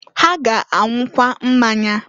Ha ga-anwụkwa mmanya.